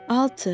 Altı.